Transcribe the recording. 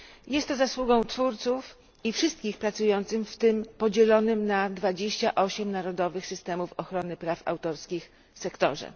Jest to zasługą twórców i wszystkich pracujących w tym podzielonym na 28 narodowych systemów ochrony praw autorskich sektorze.